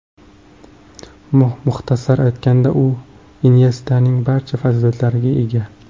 Muxtasar aytganda u Inyestaning barcha fazilatlariga ega.